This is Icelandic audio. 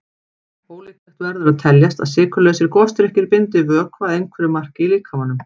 Ólíklegt verður að teljast að sykurlausir gosdrykkir bindi vökva að einhverju marki í líkamanum.